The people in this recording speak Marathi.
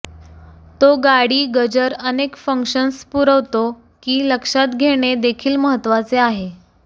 तो गाडी गजर अनेक फंक्शन्स पुरवतो की लक्षात घेणे देखील महत्वाचे आहे